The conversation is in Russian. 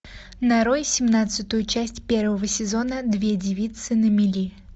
нарой семнадцатую часть первого сезона две девицы на мели